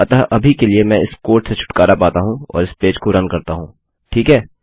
अतः अभी के लिए मैं इस कोड से छुटकारा पाता हूँ और इस पेज को रन करता हूँ ठीक है